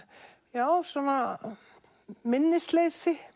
já svona minnisleysi